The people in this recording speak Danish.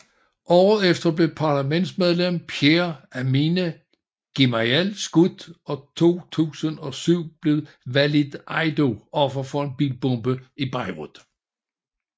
Året efter blev parlamentsmedlem Pierre Amine Gemayel skudt og i 2007 blev Walid Eido offer for en bilbombe i Beirut